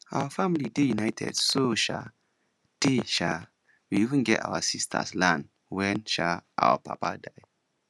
our family dey united so um tey um we even give our sisters land wen um our papa die